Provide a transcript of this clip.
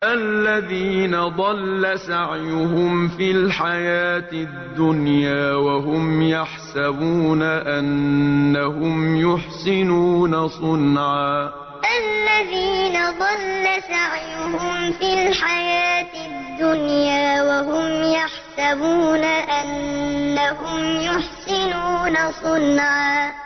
الَّذِينَ ضَلَّ سَعْيُهُمْ فِي الْحَيَاةِ الدُّنْيَا وَهُمْ يَحْسَبُونَ أَنَّهُمْ يُحْسِنُونَ صُنْعًا الَّذِينَ ضَلَّ سَعْيُهُمْ فِي الْحَيَاةِ الدُّنْيَا وَهُمْ يَحْسَبُونَ أَنَّهُمْ يُحْسِنُونَ صُنْعًا